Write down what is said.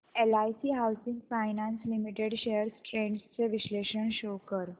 LIC housing finance limited shares trends चे विश्लेषण show कर